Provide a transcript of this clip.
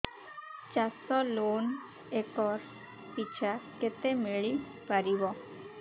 ଚାଷ loan acre ପିଛା କେତେ ମିଳି ପାରିବ